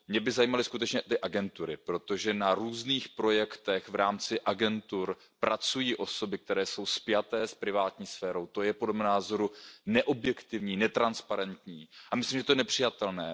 Mě by zajímaly skutečně ty agentury, protože na různých projektech v rámci agentur pracují osoby, které jsou spjaté s privátní sférou, to je podle mého názoru neobjektivní, netransparentní a myslím si, že to je nepřijatelné.